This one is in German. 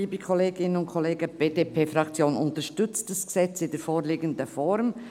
Die BDP-Fraktion unterstützt das Gesetz in der vorliegenden Form.